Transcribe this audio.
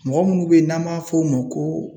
Mɔgɔ munnu be yen n'an b'a f'o ma ko